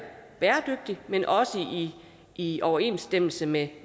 bæredygtigt men også i overensstemmelse med